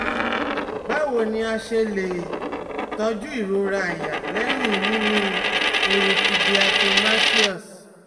Báwo ni a ṣe lè tọ́jú ìrora àyà lẹ́yìn mímí eruku diatomaceous?